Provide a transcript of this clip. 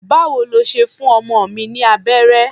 Báwo lo ṣe fún ọmọ mi ní abẹ́rẹ́?